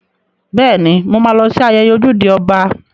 Bẹ́ẹ̀ni, mo ma lọ sí ayẹyẹ ojúde ọba